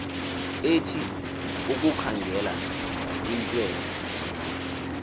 ethu ukukhangela iintswelo